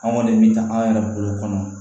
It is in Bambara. Anw kɔni bɛ taa an yɛrɛ bolo kɔnɔ